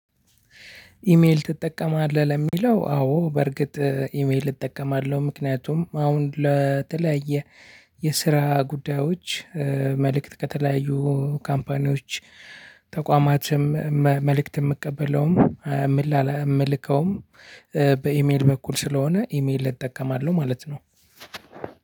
ኢሜል ትጠቀማለህ ለሚለው? አዎ በርግጥ ኢሜል እጠቀማለሁ ምክንያቱም አሁን ለተለያየ የስራ ጉዳዮች መልእክት ከተለያዩ ካምፓኒዎች ተቋማትም መልእክት የምቀበለውም የምልከውም በኢሜል በኩል ስለሆነ ኢሜል እጠቀማለሁ። ማለት ነው